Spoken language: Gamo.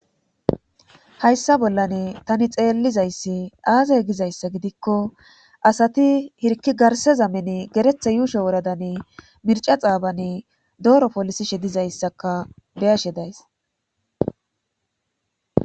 hayssa bollan tani xeellizayssi aaze gizayssa gidikko asati hirki garse zameni geretha yuusho woradani mirca xaabani dooro polisishe dizayssaka beyashe days